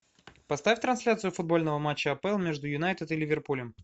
поставь трансляцию футбольного матча апл между юнайтед и ливерпулем